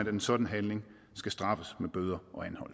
at en sådan handling skal straffes med bøder